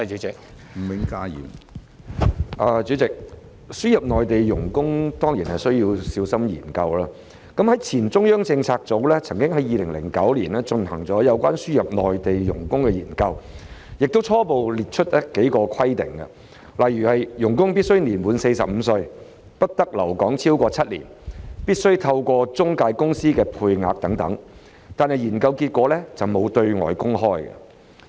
主席，輸入內地傭工當然需要小心研究，前中央政策組曾經在2009年進行有關輸入內地傭工的研究，並初步列出數項規定，例如傭工必須年滿45歲、不得留港超過7年、必須透過中介公司的配額等，但研究結果沒有對外公開。